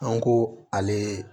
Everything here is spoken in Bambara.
An ko ale